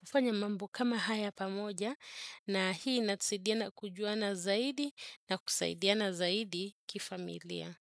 kufanya mambo kama haya pamoja. Na hii natusaidiana kujuana zaidi na kusaidiana zaidi kifamilia.